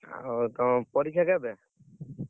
ଆଉ ତମ ପରୀକ୍ଷା କେବେ?